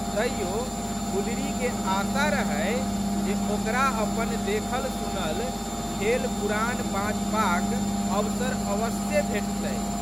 तइयो गुलरीके आशा रहै जे ओकरा अपन देखलसुनल खेलपुराण बाँचबाक अवसर अवस्से भेटतै।